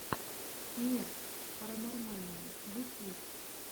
нерв паранормальное ютьюб